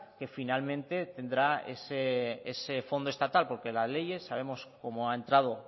que finalmente tendrá ese fondo estatal porque la ley sabemos cómo ha entrado